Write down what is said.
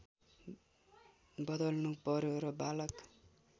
बदल्नु पर्‍यो र बालक